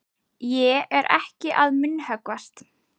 Ég er ekki að munnhöggvast.